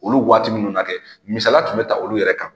Olu waati ninnu na kɛ misala tun bɛ taa olu yɛrɛ kan.